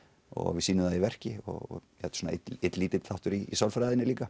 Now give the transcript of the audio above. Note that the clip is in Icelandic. og við sýnum það í verki og þetta er einn lítill þáttur í sálfræðinni líka